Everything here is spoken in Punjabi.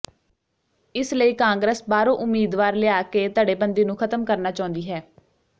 ਇਸ ਲਈ ਕਾਂਗਰਸ ਬਾਹਰੋਂ ਉਮੀਦਵਾਰ ਲਿਆ ਕੇ ਧੜੇਬੰਦੀ ਨੂੰ ਖ਼ਤਮ ਕਰਨਾ ਚਾਹੁੰਦੀ ਹੈ